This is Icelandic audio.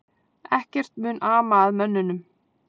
Ekkert mun ama að mönnunum